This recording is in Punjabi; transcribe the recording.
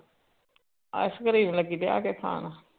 ice cream ਲੱਗੀ ਬਹਿਕੇ ਖਾਨ